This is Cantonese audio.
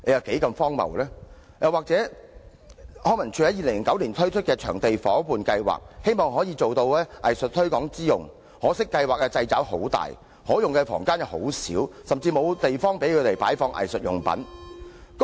康文署在2009年推行場地夥伴計劃，希望可收藝術推廣之效，可惜計劃掣肘甚大，可用房間又很少，甚至沒有地方作擺放藝術用品之用。